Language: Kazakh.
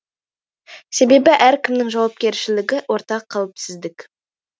себебі әркімнің жауапкершілігі ортақ қауіпсіздік